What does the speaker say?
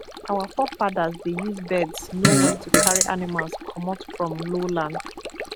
our forefathers dey use birds know when to carry animals comot from lowland